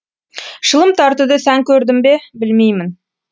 шылым тартуды сән көрдім бе білмеймін